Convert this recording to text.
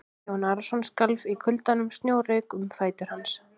Jón Arason skalf í kuldanum og snjór rauk um fætur hans.